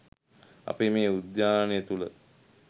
අපේ මේ උද්‍යානය තුළ